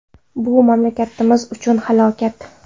Bu mamlakatimiz uchun halokat.